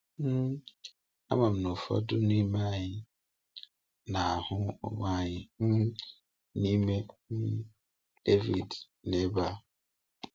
um Ama m na ụfọdụ n’ime anyị na-ahụ onwe anyị um n’ime um Davịd n’ebe a.